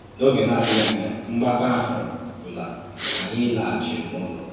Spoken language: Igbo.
N’ógè na-adìghì ànyà, mgbàkọ̀ ahụ̀ gwùlà, ànyì làghàchìrì n’ụlọ̀.